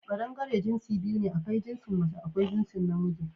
Kaɗangare jinsi biyu ne: akwai jinsin mace akwai jinsin na miji